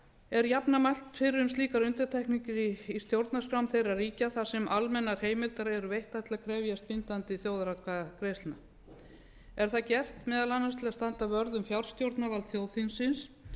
er jafnan mælt fyrir um slíkar undantekningar í stjórnarskrám þeirra ríkja þar sem almennar heimildir eru veittar til að krefjast bindandi þjóðaratkvæðagreiðslna er það gert meðal annars til að standa vörð um fjárstjórnarvald þjóðþingsins